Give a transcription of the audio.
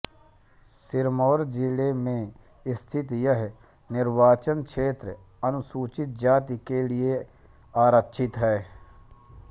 सिरमौर जिले में स्थित यह निर्वाचन क्षेत्र अनुसूचित जाति के लिए आरक्षित है